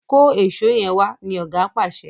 kọ Èṣó yén wá! ní oga pàṣẹ.